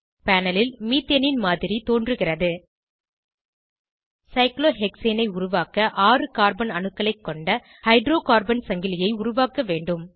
panel ல் methane மாதிரி தோன்றுகிறது சைக்ளோஹெக்சேன் ஐ உருவாக்க ஆறு கார்பன் அணுக்களைக் கொண்ட ஹைட்ரோகார்பன் சங்கிலியை உருவாக்க வேண்டும்